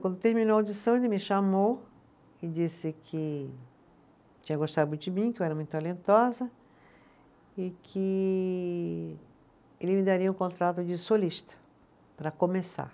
Quando terminou a audição, ele me chamou e disse que tinha gostado muito de mim, que eu era muito talentosa e que ele me daria o contrato de solista, para começar.